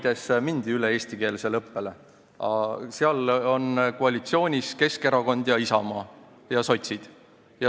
Näiteks Paides mindi eestikeelsele õppele üle, seal on koalitsioonis Keskerakond, Isamaa ja sotsid.